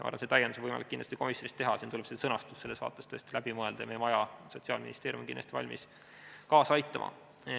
Aga see täiendus on kindlasti võimalik komisjonis teha, siin tuleb sõnastus selles vaates läbi mõelda ja meie maja, Sotsiaalministeerium, on kindlasti valmis kaasa aitama.